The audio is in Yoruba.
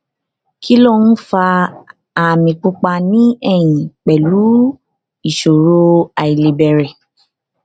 kí ló ń fa àmì pupa ní ẹyìn pẹlú ìṣòro àìlebẹrẹ